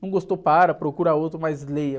Não gostou, para, procura outro, mas leia.